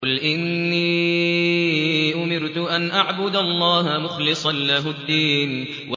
قُلْ إِنِّي أُمِرْتُ أَنْ أَعْبُدَ اللَّهَ مُخْلِصًا لَّهُ الدِّينَ